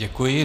Děkuji.